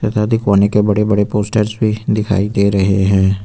के बड़े बड़े पोस्टर्स भी दिखाई दे रहे हैं।